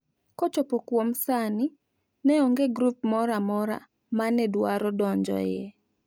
Kochopo kuom sani ne onge grup moro amora mene dwaro donjo e